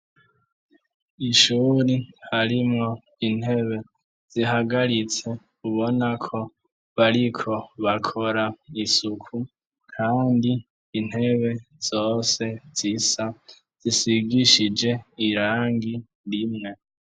Ishure harimwo intebe zihagaritse ubonako bariko bakora isuku Kandi intebe zose zisa zisigishije irangi rimwe.